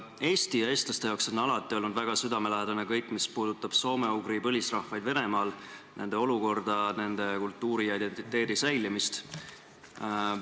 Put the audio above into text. Eesti ja eestlaste jaoks on alati olnud väga südamelähedane kõik, mis puudutab soome-ugri põlisrahvaid Venemaal, nende olukorda, nende kultuuri ja identiteedi säilimist.